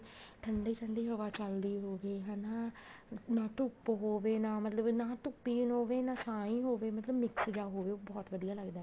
ਠੰਡੀ ਠੰਡੀ ਹਵਾ ਚੱਲਦੀ ਹੋਵੇ ਹਨਾ ਨਾ ਧੁੱਪ ਹੋਵੇ ਨਾ ਮਤਲਬ ਨਾ ਧੁੱਪ ਹੋਵੇ ਨਾ ਛਾਂ ਹੋਵੇ ਮਤਲਬ mix ਜਾ ਹੋਵੇ ਉਹ ਬਹੁਤ ਵਧੀਆ ਲੱਗਦਾ